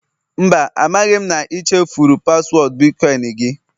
Mba, amaghị m na ị chefuru paswọọdụ bitkọịn gị